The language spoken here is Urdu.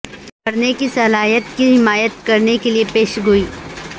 پڑھنے کی صلاحیت کی حمایت کرنے کے لئے پیشگوئی